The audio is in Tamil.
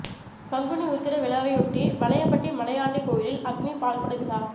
பங்குனி உத்திர விழாவையொட்டி வலையபட்டி மலையாண்டி கோயிலில் அக்னி பால்குட விழா